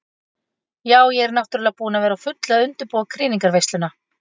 Ja, ég er náttúrulega búin að vera á fullu að undirbúa krýningarveisluna.